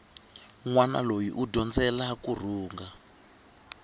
nwana loyi u dyondzela kurhunga